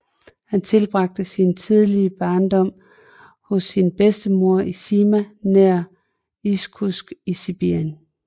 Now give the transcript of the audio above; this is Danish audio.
Han tilbragte sin tidlige barndom hos sin bedstemor i Sima nær Irkutsk i Sibirien